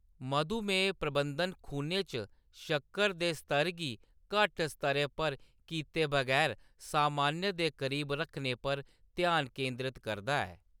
मधुमेह प्रबंधन खूनै च शक्कर दे स्तर गी घट्ट स्तरै पर कीते बगैर सामान्य दे करीब रक्खने पर ध्यान केंद्रत करदा ऐ।